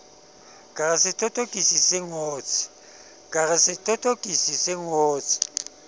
ka re sethothokisi se ngotse